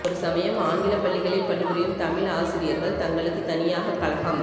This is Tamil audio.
ஒரு சமயம் ஆங்கிலப் பள்ளிகளில் பணிபுரியும் தமிழ் ஆசிரியர்கள் தங்களுக்கு தனனியாக கழகம்